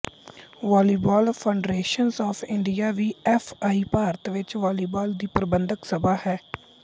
volleyball federation of India V F I Bharat ਵਿੱਚ volleyball ਦੀ ਪ੍ਰਬੰਧਕ ਸਭਾ ਹੈ